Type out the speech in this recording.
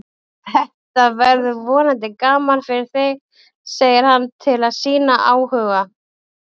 Þetta verður vonandi gaman fyrir þig, segir hann til að sýna áhuga.